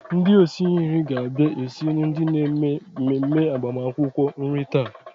Ndị osi nri ga-abia esiri ndị na-eme mmemme agbamakwụkwọ nri taa.